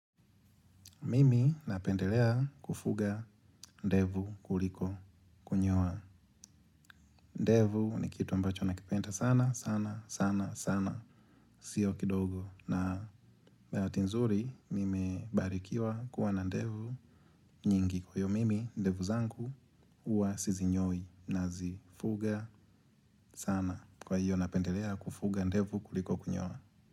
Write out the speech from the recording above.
Mimi napendelea kufuga ndevu kuliko kunyoa. Ndevu ni kitu ambacho nakipenda sana, sana, sana, sana. Sio kidogo. Na bahati nzuri nime barikiwa kuwa na ndevu nyingi. Kwa hiyo mimi ndevu zangu huwa sizinyoi na zifuga sana. Kwa hiyo napendelea kufuga ndevu kuliko kunyoa.